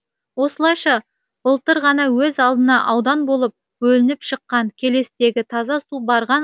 осылайша былтыр ғана өз алдына аудан болып бөлініп шыққан келестегі таза су барған